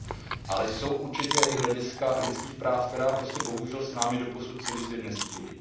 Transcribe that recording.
Ale jsou určitě i hlediska lidských práv, která prostě bohužel s námi doposud celý svět nesdílí.